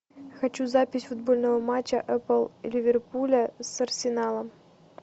хочу запись футбольного матча апл ливерпуля с арсеналом